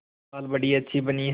दाल बड़ी अच्छी बनी है